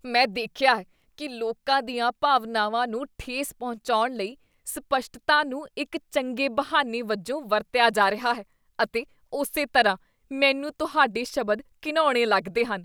ਮੈਂ ਦੇਖਿਆ ਹੈ ਕੀ ਲੋਕਾਂ ਦੀਆਂ ਭਾਵਨਾਵਾਂ ਨੂੰ ਠੇਸ ਪਹੁੰਚਾਉਣ ਲਈ ਸਪੱਸ਼ਟਤਾ ਨੂੰ ਇੱਕ ਚੰਗੇ ਬਹਾਨੇ ਵਜੋਂ ਵਰਤਿਆ ਜਾ ਰਿਹਾ ਹੈ ਅਤੇ ਉਸੇ ਤਰ੍ਹਾਂ, ਮੈਨੂੰ ਤੁਹਾਡੇ ਸ਼ਬਦ ਘਿਣਾਉਣੇ ਲੱਗਦੇ ਹਨ।